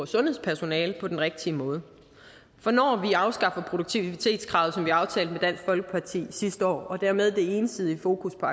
sundhedspersonale på den rigtige måde for når vi afskaffer produktivitetskravet som vi aftalte med dansk folkeparti sidste år og dermed det ensidige fokus på